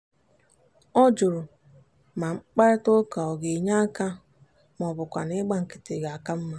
ọ jụrụ ma mkparịtaụka ọ ga-enye aka ma ọ bụkwanụ ịgba nkịtị ga-aka mma.